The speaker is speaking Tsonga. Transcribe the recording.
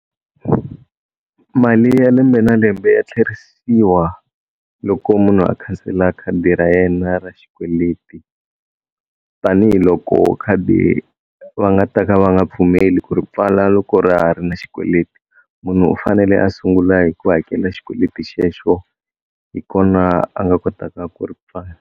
Mali ya lembe na lembe ya tlherisiwa loko munhu a khansela khadi ra yena ra xikweleti tanihiloko khadi va nga ta ka va nga pfumeli ku ri pfala loko ra ha ri na xikweleti, munhu u fanele a sungula hi ku hakela xikweleti xexo hi kona a nga kotaka ku ri pfala.